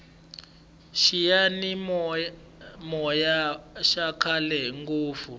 xiyani moya xa khale ngopfu